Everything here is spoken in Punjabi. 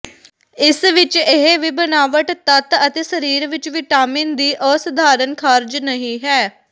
ਇਸ ਵਿਚ ਇਹ ਵੀ ਬਣਾਵਟ ਤੱਤ ਅਤੇ ਸਰੀਰ ਵਿਚ ਵਿਟਾਮਿਨ ਦੀ ਅਸਧਾਰਨ ਖ਼ਾਰਜ ਨਹੀ ਹੈ